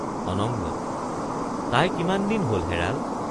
অনঙ্গ—তাই কিমান দিন হল হেৰাল?